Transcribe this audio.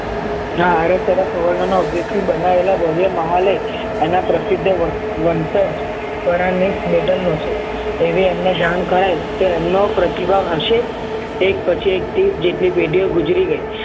આરવ તથા સુવર્ણ ના મહા લય એના પ્રસિદ્ધ વંશ્લ નો છે એવી એમને જાન થાય તો એમનો પ્રતિભાવ હશે એક પછી એક પેઢીઓ ગુજરી ગઈ